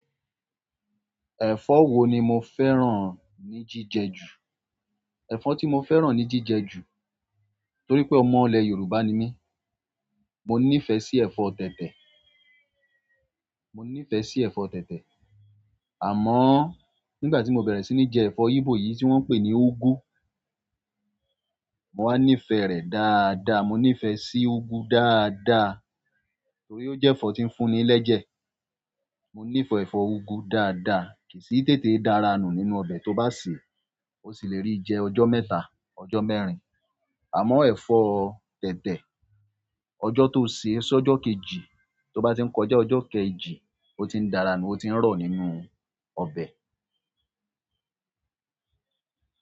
Ẹ̀fọ́ wo ni mo fẹ́ràn ni jíjẹ ju? Ẹ̀fọ́ ti mo fẹ́ràn ni jíjẹ ju toripe ọmọ ile yorùbá ni mi mo nife si ẹ̀fọ́ tètè. Mo nífẹ̀ẹ́ sí ẹ̀fọ́ tẹ̀tẹ̀, àmọ́ nígbàtí mo bere sí je ẹ̀fọ́ igbo yi ti won pe igwu mo wa nife rẹ dáadáa mo ni fe sí igwu dáadáa torí o je ẹ̀fọ́ ti n fún ni leje. Mo nífẹ̀ẹ́ ẹ̀fọ́ úgú dáadáa, kì í sì tètè dára nù nínú ọbẹ̀ tó bá sè é, ó sì le rí jẹ ọjọ́ mẹ́ta, ọjọ́ mẹ́rin. Àmọ́ ẹ̀fọ́ tẹ̀tẹ̀, ọjọ́ tó sè é, só ọjọ́ kejì, tó bá tí ń kọjá ọjọ́ kejì, ó ti ń dára nù, ó ti ń rọ̀ nínú ọbẹ̀.